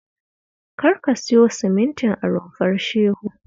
Kar ka siyo simintin a Rumfar Shehu